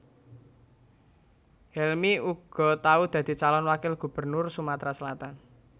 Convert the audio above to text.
Helmy uga tau dadi calon wakil gubernur Sumatra Selatan